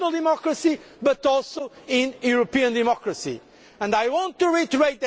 I believe in national democracy, but also in European democracy.